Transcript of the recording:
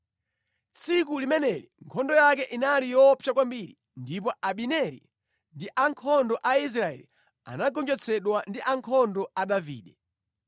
Tsiku limeneli nkhondo yake inali yoopsa kwambiri, ndipo Abineri ndi ankhondo a Israeli anagonjetsedwa ndi ankhondo a Davide.